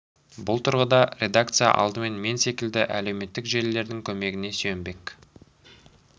бұл тұрғыда редакция алдымен мен секілді әлеуметтік желілердің көмегіне сүйенбек